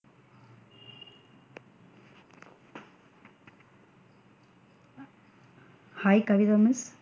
Hi .